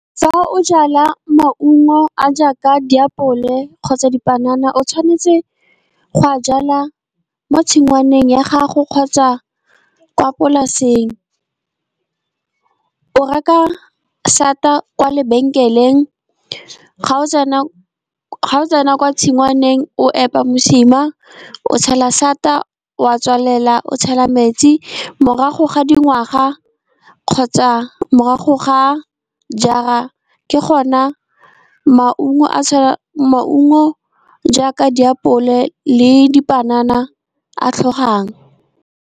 Fa o jala maungo a jaaka diapole kgotsa dipanana, o tshwanetse go a jalwa mo tshingwaneng ya gago kgotsa kwa polaseng. O reka sata kwa lebenkeleng, ga o tsena kwa tshingwaneng, o epa mosima o tshela sata wa tswalela. O tshela metsi morago ga dingwaga kgotsa morago ga jaar-a, ke gona maungo jaaka diapole le dipanana a tlhogang.